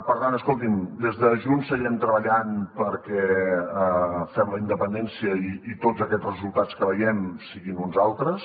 per tant escoltin des de junts seguirem treballant perquè fem la independència i tots aquests resultats que veiem siguin uns altres